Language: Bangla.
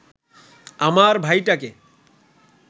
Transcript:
আমার ভাইটাকে